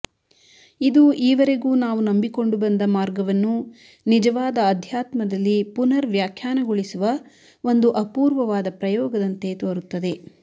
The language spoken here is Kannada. ಇದು ಈವರೆಗೂ ನಾವು ನಂಬಿಕೊಂಡು ಬಂದ ಮಾರ್ಗವನ್ನು ನಿಜವಾದ ಅಧ್ಯಾತ್ಮದಲ್ಲಿ ಪುನರ್ ವ್ಯಾಖ್ಯಾನಗೊಳಿಸುವ ಒಂದು ಅಪೂರ್ವವಾದ ಪ್ರಯೋಗದಂತೆ ತೋರುತ್ತದೆ